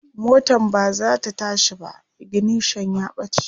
motan bazata tashi ba, ignition ya ɓace